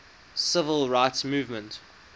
civil rights movement